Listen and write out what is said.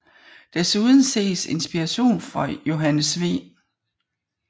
Desuden ses inspiration fra Johannes V